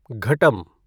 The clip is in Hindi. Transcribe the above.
घटम